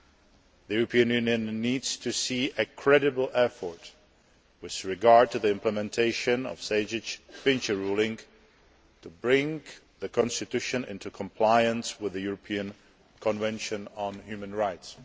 The European Union needs to see a credible effort' with regard to the implementation of the Sejdić and Finci ruling to bring the constitution into compliance with the European Convention on Human Rights.